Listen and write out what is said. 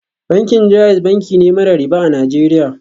Bankin JAIZ banki ne mara riba a Najeriya